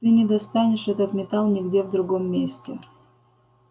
ты не достанешь этот металл нигде в другом месте